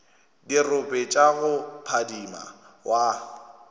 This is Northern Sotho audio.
dirope tša go phadima wa